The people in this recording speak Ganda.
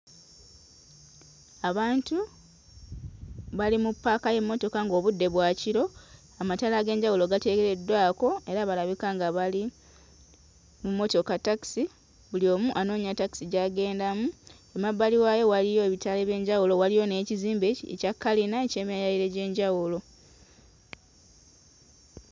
Abantu bali mu ppaaka y'emmotoka ng'obudde bwa kiro, amataala ag'enjawulo gateekeddwako era balabika nga bali mu mmotoka takisi; buli omu anoonya takisi gy'agendamu, emabbali waayo waliyo ebitaala eby'enjawulo, waliyo n'ekizimbe ekya kalina eky'emyaliriro egy'enjawulo.